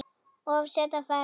Of seinn á ferð?